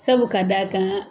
Sabu k'a d'a kan